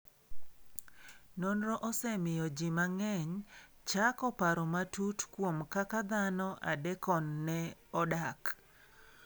Nonrono osemiyo ji mang'eny ochako paro matut kuom kaka dhano adekon ne odak.